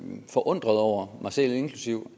forundrede over mig selv inklusive